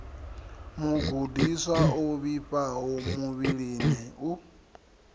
mugudiswa o vhifhaho muvhilini u